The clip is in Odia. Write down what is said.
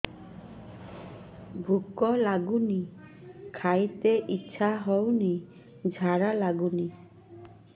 ଭୁକ ଲାଗୁନି ଖାଇତେ ଇଛା ହଉନି ଝାଡ଼ା ଲାଗୁନି